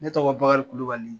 Ne tɔgɔ Bakari Kulibali